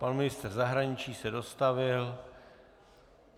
Pan ministr zahraničí se dostavil.